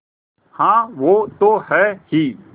हाँ वो तो हैं ही